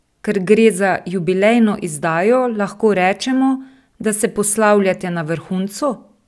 Ker gre za jubilejno izdajo, lahko rečemo, da se poslavljate na vrhuncu?